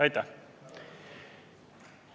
Aitäh!